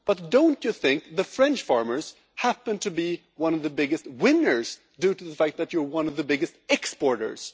But don't you think the French farmers happen to be one of the biggest winners, due to the fact that you are one of the biggest exporters?